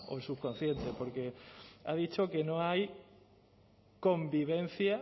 el subconsciente porque ha dicho que no hay convivencia